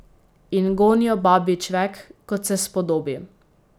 In gonijo babji čvek, kot se spodobi.